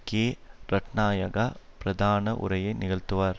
K Ratnayake பிரதான உரையை நிகழ்த்துவார்